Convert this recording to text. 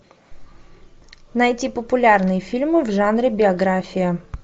найти популярные фильмы в жанре биография